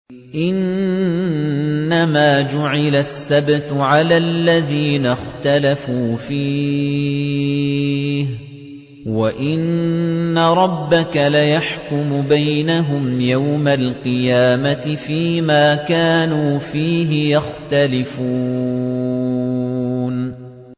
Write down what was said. إِنَّمَا جُعِلَ السَّبْتُ عَلَى الَّذِينَ اخْتَلَفُوا فِيهِ ۚ وَإِنَّ رَبَّكَ لَيَحْكُمُ بَيْنَهُمْ يَوْمَ الْقِيَامَةِ فِيمَا كَانُوا فِيهِ يَخْتَلِفُونَ